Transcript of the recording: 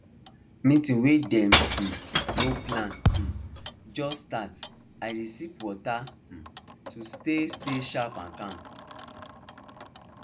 meeting wey dem um no plan um just start i dey sip water um to stay stay sharp and calm